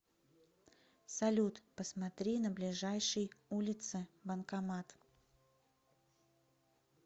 салют посмотри на ближайшей улице банкомат